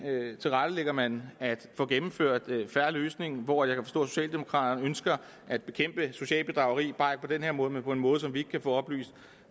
tilrettelægger man at få gennemført en fair løsning hvor jeg at socialdemokraterne ønsker at bekæmpe socialt bedrageri bare ikke på den her måde men på en måde som vi ikke kan få oplyst